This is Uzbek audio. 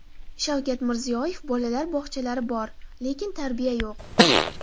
Shavkat Mirziyoyev: Bolalar bog‘chalari bor, lekin tarbiya yo‘q .